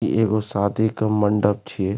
इ एगो शादी के मंडप छिये।